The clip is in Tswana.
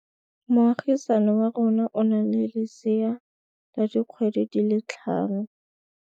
Moagisane wa rona o na le lesea la dikgwedi tse tlhano.